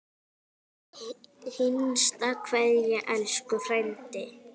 HINSTA KVEÐJA Elsku frændi.